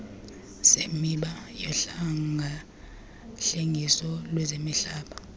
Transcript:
semiba yohlengahlengiso lwezemihlaba